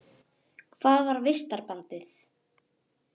Hvað var vistarbandið?